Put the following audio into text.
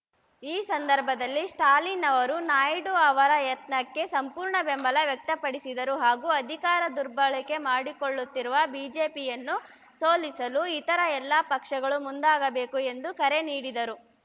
ಈ ಸಂದರ್ಭದಲ್ಲಿ ಸ್ಟಾಲಿನ್‌ ಅವರು ನಾಯ್ಡು ಅವರ ಯತ್ನಕ್ಕೆ ಸಂಪೂರ್ಣ ಬೆಂಬಲ ವ್ಯಕ್ತಪಡಿಸಿದರು ಹಾಗೂ ಅಧಿಕಾರ ದುರ್ಬಳಕೆ ಮಾಡಿಕೊಳ್ಳುತ್ತಿರುವ ಬಿಜೆಪಿಯನ್ನು ಸೋಲಿಸಲು ಇತರ ಎಲ್ಲ ಪಕ್ಷಗಳು ಮುಂದಾಗಬೇಕು ಎಂದು ಕರೆ ನೀಡಿದರು